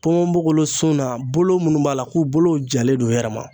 Ponponpogolon sun na bolo minnu b'a la ko bolo jalen don u yɛrɛ ma